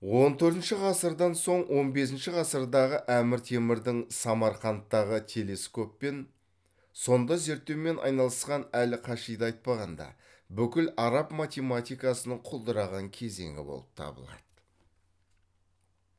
он төртінші ғасырдан соң он бесінші ғасырдағы әмір темірдің самарқандтағы телескоп мен сонда зерттеумен айналысқан әл кашиды айтпағанда бүкіл араб математикасының құлдыраған кезеңі болып табылады